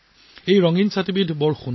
এই ৰঙীন ছাতিবোৰ অতি দৰ্শনীয়